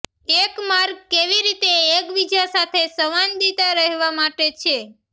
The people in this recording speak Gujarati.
એક માર્ગ કેવી રીતે એકબીજા સાથે સંવાદિતા રહેવા માટે છે